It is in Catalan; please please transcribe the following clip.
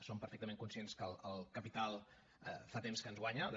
som perfectament conscients que el capital fa temps que ens guanya de